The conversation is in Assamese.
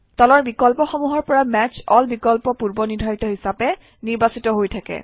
তলৰ বিকল্পসমূহৰ পৰা মেচ এল বিকল্প পূৰ্বনিৰ্ধাৰিত হিচাপে নিৰ্বাচিত হৈ থাকে